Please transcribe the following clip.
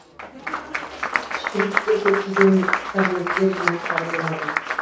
шприцте көптеген корнеттер жинақтары болады